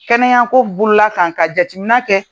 Kɛnɛya ko ka jatimina kɛ.